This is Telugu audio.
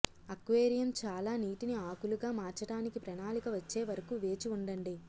అక్వేరియం చాలా నీటిని ఆకులుగా మార్చటానికి ప్రణాళిక వచ్చే వరకు వేచి ఉండండి